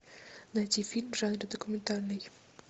найти фильм в жанре документальный